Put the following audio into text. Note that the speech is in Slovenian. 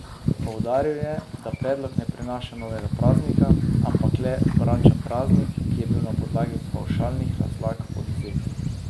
Poudaril je, da predlog ne prinaša novega praznika, ampak le vrača praznik, ki je bil na podlagi pavšalnih razlag odvzet.